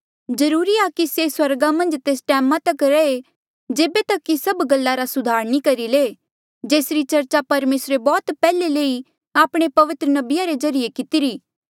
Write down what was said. जरूरी आ कि से स्वर्गा मन्झ तेस टैमा तक रैहे जेबे तक कि से सभ गल्ला रा सुधार नी करी ले जेसरी चर्चा परमेसरे बौह्त पैहले से ही आपणे पवित्र नबिये रे ज्रीए कितिरी